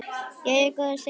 Jæja góða, segir hann.